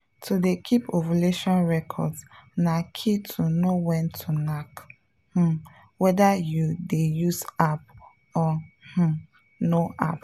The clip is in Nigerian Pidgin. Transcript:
to dey keep ovulation records na key to know when to knack um whether you dey use app or um no app.